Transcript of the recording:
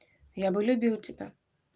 я бы любил тебя